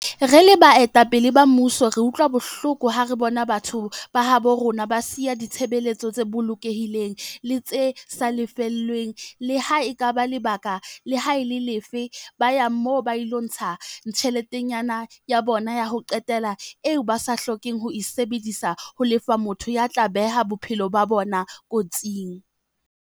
"Re le baetapele ba mmuso re utlwa bohloko ha re bona batho ba habo rona ba siya ditshebeletso tse bolokehileng le tse sa lefellweng, le ha e le ka lebaka le ha e le lefe, ba ya moo ba ilo ntsha tjheletana ya bona ya ho qetela eo ba sa hlokeng ho e sebedisetsa ho lefa motho ya tla beha bophelo ba bona kotsing."